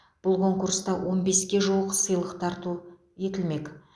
бұл конкурста он беске жуық сыйлық тарту етілмек